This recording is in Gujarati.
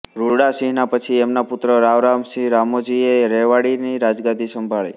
રૂડા સિંહ ના પછી એમના પુત્ર રાવ રામ સિંહ રામોજી એ રેવાડી ની રાજગાદી સંભાળી